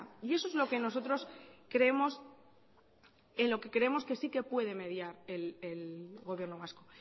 y eso es en lo que nosotros creemos que sí que puede mediar el gobierno vasco